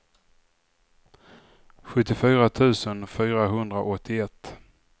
sjuttiofyra tusen fyrahundraåttioett